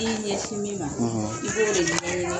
I y'i ɲɛsin min ma i b'o de ɲɛɲini